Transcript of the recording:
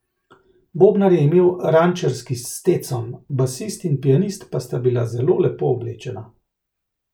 Bobnar je imel rančerski stetson, basist in pianist pa sta bila zelo lepo oblečena.